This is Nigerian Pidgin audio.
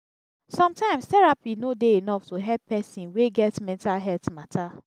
sometimes terapi no dey enough to help pesin wey get mental healt mata.